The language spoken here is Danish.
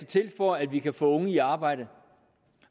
til for at vi kan få unge i arbejde